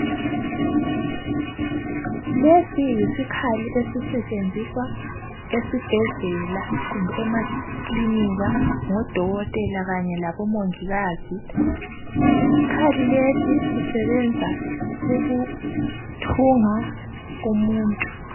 Lesi yisikhali esisetshenziswa esibhedlela kumbe emakilinika ngodokotela kanye labomongikazi isikhali lesi sisebenza ukuthunga umuntu.